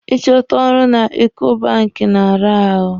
Ị chọta ọrụ na Eko banki na-ara ahụ.